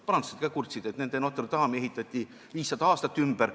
Prantslased ka kurtsid, et nende Notre-Dame'i ehitati 500 aastat ümber.